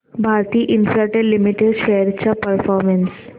Bharti Infratel limited shares चा performance